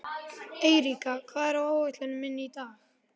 Eiríka, hvað er á áætluninni minni í dag?